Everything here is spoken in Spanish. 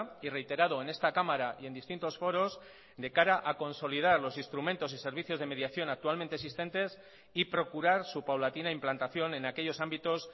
y reiterado en esta cámara y en distintos foros de cara a consolidar los instrumentos y servicios de mediación actualmente existentes y procurar su paulatina implantación en aquellos ámbitos